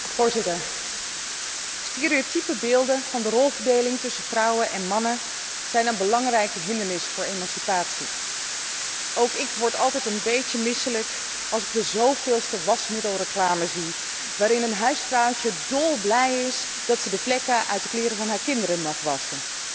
Voorzitter, stereotype beelden van de rolverdeling tussen vrouwen en mannen zijn een belangrijke hindernis voor emancipatie. Ook ik word altijd een beetje misselijk als ik de zoveelste wasmiddelreclame zie waarin een huisvrouwtje dolblij is dat ze de vlekken uit de kleren van haar kinderen mag wassen.